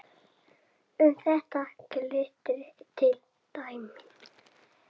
Um þetta gildir til dæmis